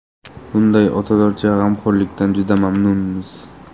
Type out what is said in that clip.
Bunday otalarcha g‘amxo‘rlikdan juda mamnunmiz”.